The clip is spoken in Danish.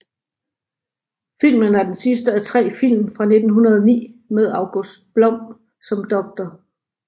Filmen er den sidste af tre film fra 1909 med August Blom som Dr